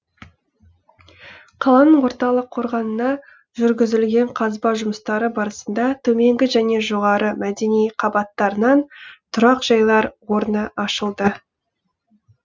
қаланың орталық қорғанына жүргізілген қазба жұмыстары барысында төменгі және жоғары мәдени қабаттарынан тұрақжайлар орны ашылды